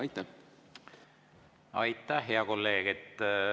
Aitäh, hea kolleeg!